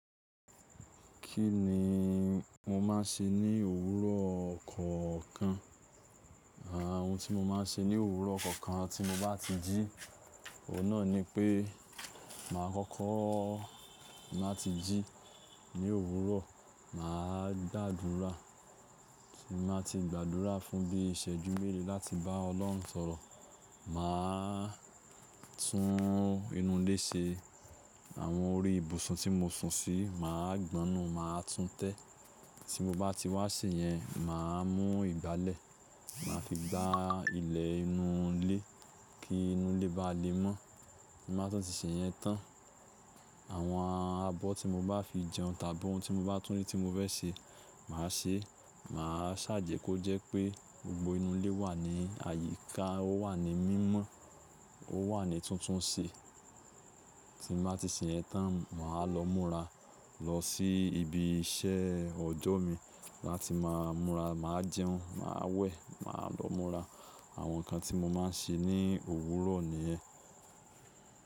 Kí ni mo máa ń ṣe ní òwúrọ̀ kọ̀ọ̀kan? Àwọn ohun tí mo máa ń ṣe ní òwúrọ̀ kọ̀ọ̀kan tí mo bá ti jí, ọ̀un naà ni pé màá kọ́kọ́ má ti jí ní òwúrọ̀, màá gbàdúrà, tí n bá ti gbàdúrà fún bí iṣẹ́jú mélòó láti bá Ọlọ́run sọ̀rọ̀, màá tún inú ilé ṣe. Àwọn orí ibùsùn tí mo sùn sí, màá gbón nu, màá tún tẹ́. Tí mo bá ti wá sé yẹn, màá mú ìgbálẹ̀, màá fi gbá ilẹ̀ inú ilé kí inú ilé bá le mọ́. Tí màá tun ti sè yẹn tán, àwọn abọ́ tí mo bá fi jẹun tàbí ohun tí mo bá tún ní tí mo fẹ́ ṣe, màá ṣe é. Màá ṣà jẹ kọ́ jẹ́ pé gbogbo inú ilé wà ní àyíká, ó wà ní mímọ́, ó wà ní tuntun se. Tí n bá ti sè yẹn tán, màá lọ múra lọ sí ibi iṣẹ́ ọjọ́ mi láti máa múra. Màá jẹun, màá wẹ̀, màá lọ múra. Àwọn nǹkan tí mo máa ń ṣe ní òwúrọ̀ nìyẹn.